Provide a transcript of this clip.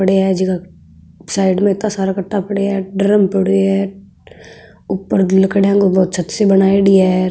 पड़या है जिका साइड में इत्ता सारा कट्टा पड़या है ड्रम पड़यो है ऊपर लकड़ियाँ को बो छत सी बनाईडी है।